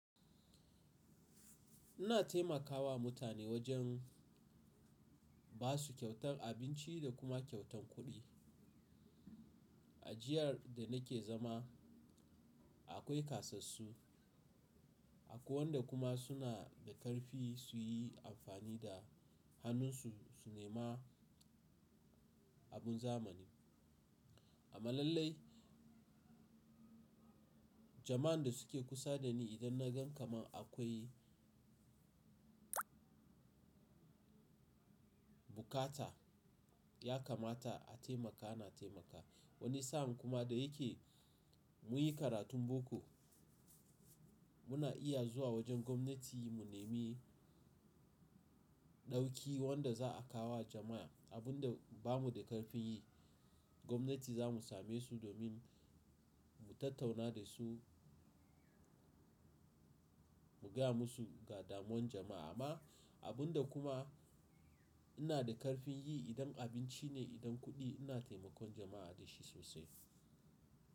Ina taimakawa mutane wajen ba su kyautan abinci da kuma kyautan kuɗi. Ajiyar da nake zama akwai ƙasassu akwai wanda kuma suna da ƙarfi su yi amfani da hannunsu su nema abun zamani. Amma mallai jama’an da suke kusa da ni idan na gan kamar akwai bukata ya kamata a taimaka, ana taimakawa. Wani sa’an kuma da yake mun yi karatun boko muna iya zuwa wajen gwamnati mu nemi ɗauki wanda za a kawo wa jama’a. Abun da bamu da ƙarfin yi gwamnati za mu same su domin mu tattauna da su mu gaya musu ga damuwan jama’a. Amma abun da kuma ina da ƙarfin yi idan abinci ne, idan kuɗi ina taimakon jama’a da shi sosai.